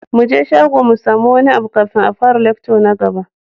Muje shago mu samu wani abu kafin a fara lecture na gaba.